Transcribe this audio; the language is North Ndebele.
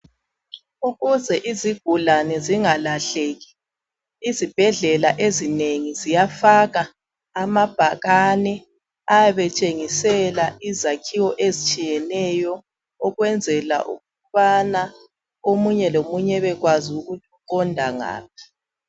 Ukuze izigulane zingalahleki, izibhedlela ezinengi ziyafaka amabhakane ayabe etshengisela izakhiwo ezitshiyeneyo ukwenzela ukubana omunye lomunye abekwazi ukuthi uqonda ngaphi.